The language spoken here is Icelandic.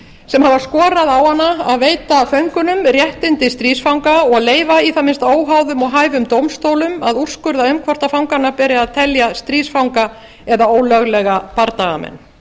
sem hafa skorað á hana að veita föngunum réttindi stríðsfanga og leyfa í það minnsta óháðum og hæfum dómstólum að úrskurða um hvort fangana beri að telja stríðsfanga eða ólöglega bardagamenn